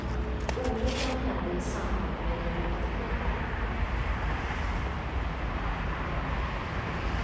Olyckan hände i samband med en repetition.